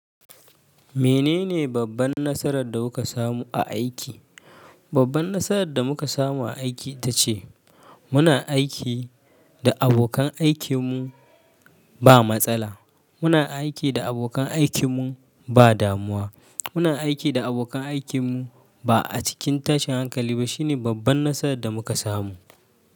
Menene babban nasarar da kuka samu a aiki? Babban nasarar da muka samu a aiki ita ce muna aiki da abokan aikinmu ba matsala. Muna aiki da abokan aikinmu ba damuwa. Muna aiki da abokan aikinmu ba a cikin tashin hankali ba. Shine babban nasarar da muka samu.